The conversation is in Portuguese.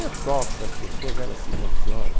Eu toco para as pessoas, elas se emocionam.